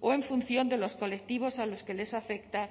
o en función de los colectivos a los que les afecta